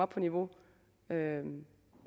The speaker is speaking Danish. på niveau med